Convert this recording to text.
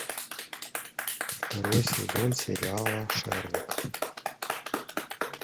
второй сезон сериала шерлок